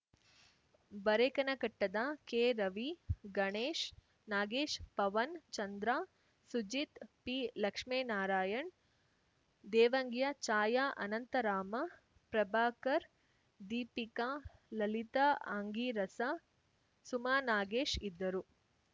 ಬರೇಕನಕಟ್ಟದ ಕೆರವಿ ಗಣೇಶ್‌ ನಾಗೇಶ್‌ ಪವನ್‌ ಚಂದ್ರ ಸುಜಿತ್‌ ಪಿಲಕ್ಷ್ಮೇನಾರಾಯಣ್‌ ದೇವಂಗಿಯ ಛಾಯಾ ಅನಂತ ರಾಮ ಪ್ರಭಾಕರ್‌ ದೀಪಿಕಾ ಲಲಿತಾ ಆಂಗೀರಸ ಸುಮಾನಾಗೇಶ್‌ ಇದ್ದರು